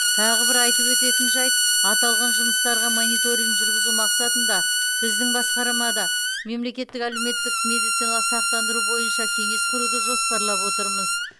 тағы бір айтып өтетін жайт аталған жұмыстарға мониторинг жүргізу мақсатында біздің басқармада мемлекеттік әлеуметтік медициналық сақтандыру бойынша кеңес құруды жоспарлап отырмыз